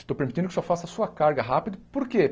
Estou permitindo que o senhor faça a sua carga rápido, por quê?